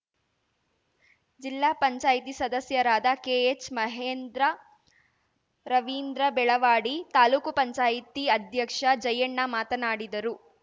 ಜಿಲ್ಲಾ ಪಂಚಾಯ್ತಿ ಸದಸ್ಯರಾದ ಕೆಎಚ್‌ಮಹೇಂದ್ರ ರವೀಂದ್ರ ಬೆಳವಾಡಿ ತಾಲೂಕು ಪಂಚಾಯ್ತಿ ಅಧ್ಯಕ್ಷ ಜಯಣ್ಣ ಮಾತನಾಡಿದರು